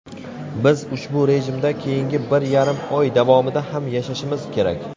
Biz ushbu rejimda keyingi bir yarim oy davomida ham yashashimiz kerak.